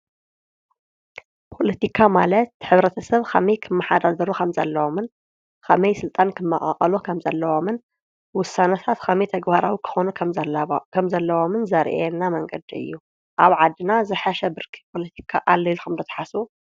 ፖለቲካ ማለት ሕብረተስብ ከመይ ክመሓደር ከምዘለዎምን ከመይ ስልጣን ክመቃቀሉ ከምዘለዎምን ውሳነታት ከመይ ተግባራዊ ክኮኑ ከምዘለዎምን ዘርእየና መንገዲ እዩ። ኣብ ዓዲና ዝሐሸ ብርኪ ፖለቲካ አሎ ኢልኩም ዶ ትሓስብ?